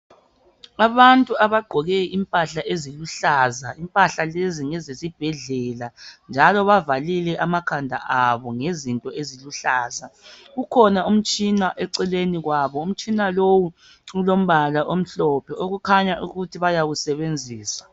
Abantu abagqoke impahla eziluhlaza. Impahla lezi ngezesibhedlela njalo bavalile amakhanda abo ngezinto eziluhlaza. Ukhona umtshina eceleni kwabo. Umtshina lowu ulombala omhlophe okukhanya ukuthi bayawusebenzisa.